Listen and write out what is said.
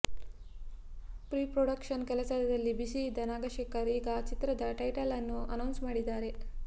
pre-production ಕೆಲಸದಲ್ಲಿ busy ಇದ್ದ ನಗಶೇಖರ್ ಈಗ ಚಿತ್ರದ ಟೈಟಲ್ ಅನ್ನು ಅನೌನ್ಸ್ ಮಾಡಿದ್ದಾರೆ